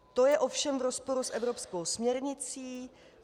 To je ovšem v rozporu s evropskou směrnicí.